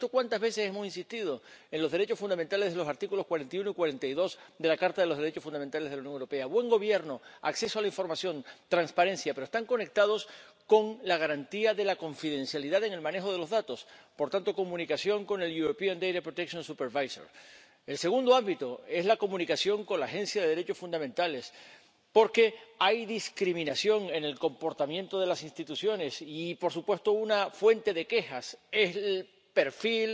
Habrá visto cuántas veces hemos insistido en los derechos fundamentales de los artículos 41 y 42 de la Carta de los Derechos Fundamentales de la Unión Europea —buena administración, acceso a la información, transparencia—, pero están conectados con la garantía de la confidencialidad en el manejo de los datos por tanto, comunicación con el Supervisor Europeo de Protección de Datos. El segundo ámbito es la comunicación con la Agencia de los Derechos Fundamentales de la UE, porque hay discriminación en el comportamiento de las instituciones y, por supuesto, una fuente de quejas es el perfil